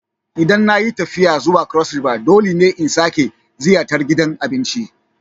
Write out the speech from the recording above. Idan na yi tafiya zuwa Cross River dole ne in sake ziyartar gidan abincin.